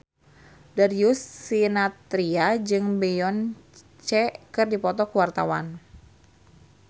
Darius Sinathrya jeung Beyonce keur dipoto ku wartawan